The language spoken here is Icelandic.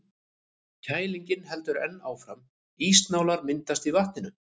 Kælingin heldur enn áfram, ísnálar myndast í vatninu.